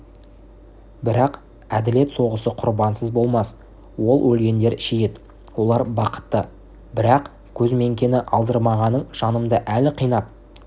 бірақ әділет соғысы құрбансыз болмас ол өлгендер шейіт олар бақытты бірақ көзміңкені алдырмағаның жанымды әлі қинап